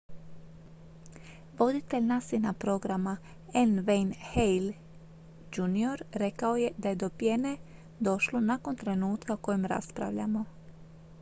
"voditelj nasa-ina programa n. wayne hale jr. rekao je da je do pjene došlo "nakon trenutka o kojem raspravljamo.""